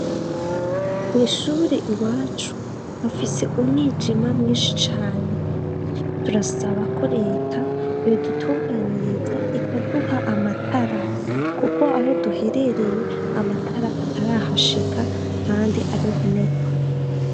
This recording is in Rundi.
Mwishuure i wacu afise umwijima mwinshi cane turasabako reta iyodutunganiriza ikaduha amatara, kuko aho duherereye amatara atarahashika, kandi ari ntenerwa.